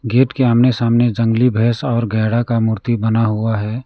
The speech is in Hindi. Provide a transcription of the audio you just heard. गेट के आमने सामने जंगली भैंस और गैड़ा का मूर्ति बना हुआ है।